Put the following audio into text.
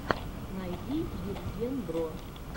найди евгенбро